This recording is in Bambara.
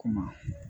Ko maa